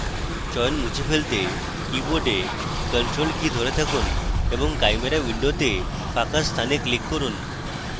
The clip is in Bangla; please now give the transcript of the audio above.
চয়ন মুছে ফেলতে কীবোর্ডে ctrl key ধরে থাকুন এবং chimera window ফাঁকা স্থানে click করুন